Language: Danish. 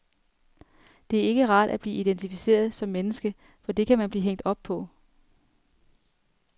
Det er ikke rart at blive identificeret som menneske, for det kan man blive hængt op på.